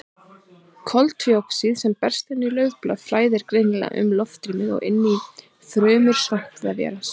Koltvíoxíð sem berst inn í laufblaði flæðir greiðlega um loftrúmið og inn í frumur svampvefjarins.